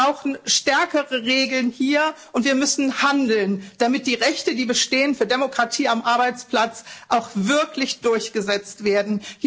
Wir brauchen stärkere Regeln hier, und wir müssen handeln, damit die Rechte, die für Demokratie am Arbeitsplatz bestehen, auch wirklich durchgesetzt werden.